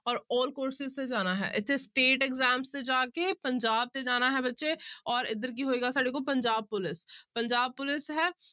ਔਰ all courses ਤੇ ਜਾਣਾ ਹੈ ਇੱਥੇ state exams ਤੇ ਜਾ ਕੇ ਪੰਜਾਬ ਤੇ ਜਾਣਾ ਹੈ ਬੱਚੇ ਔਰ ਇੱਧਰ ਕੀ ਹੋਏਗਾ ਸਾਡੇ ਕੋਲ ਪੰਜਾਬ ਪੁਲਿਸ ਪੰਜਾਬ ਪੁਲਿਸ ਹੈ